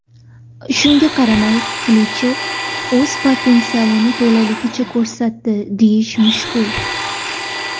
Shunga qaramay Qilichevni o‘z potensialini to‘laligicha ko‘rsatdi deyish mushkul.